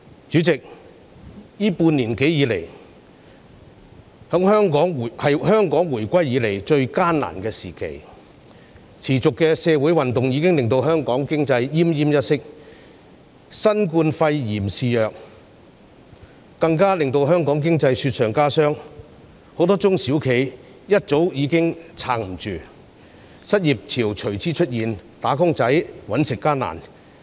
主席，這半年多以來，是香港自回歸後最艱難的時期，持續的社會運動已經令香港經濟奄奄一息；新冠肺炎肆虐，更令香港經濟雪上加霜，很多中小企業早已撐不住，失業潮隨之出現，"打工仔""搵食"艱難。